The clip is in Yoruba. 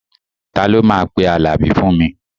Ta ló máa pe Àlàbí fún mi?